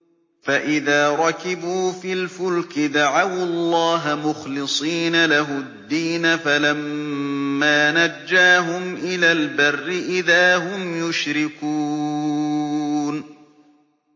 فَإِذَا رَكِبُوا فِي الْفُلْكِ دَعَوُا اللَّهَ مُخْلِصِينَ لَهُ الدِّينَ فَلَمَّا نَجَّاهُمْ إِلَى الْبَرِّ إِذَا هُمْ يُشْرِكُونَ